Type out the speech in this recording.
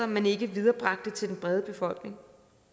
man ikke viderebragte til den brede befolkning